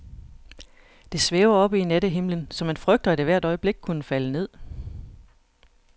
Det svæver oppe i nattehimlen, så man frygter, at det hvert øjeblik kunne falde ned.